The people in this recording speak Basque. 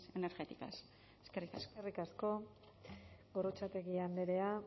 energéticas eskerrik asko eskerrik asko gorrotxategi andrea